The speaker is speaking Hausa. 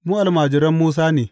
Mu almajiran Musa ne!